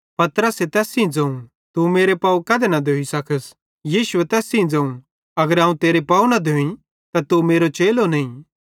पतरसे तैस सेइं ज़ोवं तू मेरे पाव कधे न धोई सकस यीशुए तैस सेइं ज़ोवं अगर अवं तेरे पाव न धोई त तू मेरो चेलो नईं